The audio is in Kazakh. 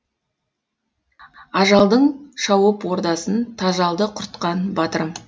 ажалдың шауып ордасын тажалды құртқан батырым